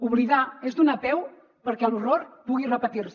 oblidar és donar peu perquè l’horror pugui repetir se